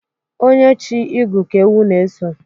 Onye chi igu Ka ewu n'eso